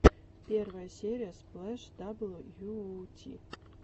первая серия сплэш дабл ю оу ти